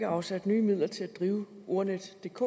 afsat nye midler til at drive ordnetdk